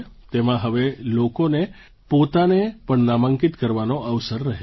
તેમાં હવે લોકોને પોતાને પણ નામાંકિત કરવાનો અવસર રહે છે